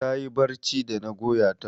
Ta yi barci da na goya ta.